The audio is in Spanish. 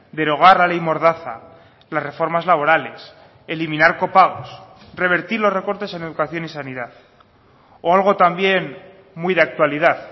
derogar la ley mordaza las reformas laborales eliminar copagos revertir los recortes en educación y sanidad o algo también muy de actualidad